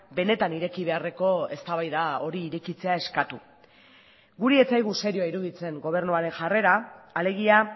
benetan ireki beharreko eztabaida hori irekitzea eskatu guri ez zaigu serioa iruditzen gobernuaren jarrera alegia